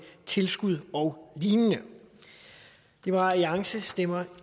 tilskud og lignende liberal alliance stemmer